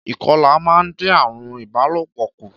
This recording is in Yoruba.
Ìkọlà máa ń dín àarùn ìbálòpọ̀ kù